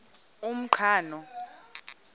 umqhano